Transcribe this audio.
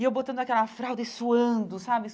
E eu botando aquela fralda e suando, sabe?